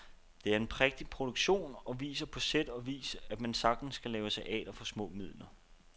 Det er en prægtig produktion og viser på sæt og vis, at man sagtens kan lave teater for små midler.